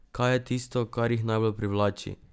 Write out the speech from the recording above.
Kaj je tisto, kar jih najbolj privlači?